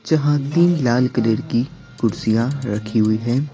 जहां तीन लाल कलर की कुर्सियां रखी हुई हैं।